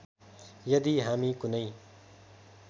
यदि हामी कुनै